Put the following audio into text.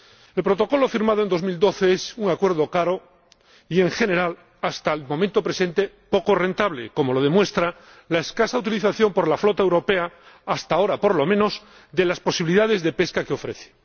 El Protocolo firmado en 2012 es un acuerdo caro y, en general, hasta el momento presente, poco rentable, como lo demuestra la escasa utilización por la flota europea, hasta ahora por lo menos, de las posibilidades de pesca que ofrece.